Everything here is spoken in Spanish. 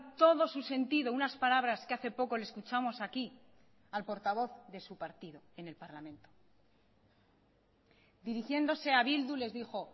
todo su sentido unas palabras que hace poco le escuchamos aquí al portavoz de su partido en el parlamento dirigiéndose a bildu les dijo